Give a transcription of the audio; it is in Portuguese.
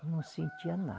Eu não sentia na